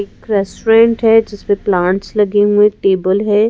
एक रेस्टोरेंट है जिसमें प्लांट्स लगे हुए हैं टेबल है ।